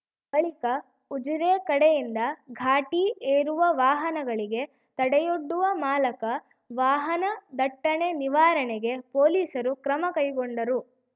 ಬಳಿಕ ಉಜಿರೆ ಕಡೆಯಿಂದ ಘಾಟಿ ಏರುವ ವಾಹನಗಳಿಗೆ ತಡೆಯೊಡ್ಡುವ ಮಾಲಕ ವಾಹನ ದಟ್ಟಣೆ ನಿವಾರಣೆಗೆ ಪೊಲೀಸರು ಕ್ರಮ ಕೈಗೊಂಡರು